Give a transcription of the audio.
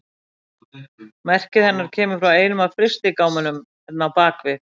Merkið hennar kemur frá einum af frystigámunum hérna á bak við.